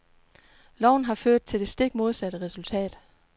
Loven har ført til det stik modsatte resultat.